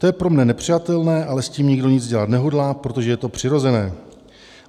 To je pro mne nepřijatelné, ale s tím nikdo nic dělat nehodlá, protože je to přirozené.